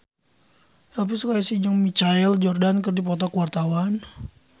Elvi Sukaesih jeung Michael Jordan keur dipoto ku wartawan